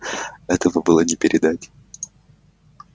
этого было не переделать